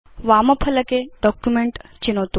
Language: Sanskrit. वामफलके डॉक्युमेंट चिनोतु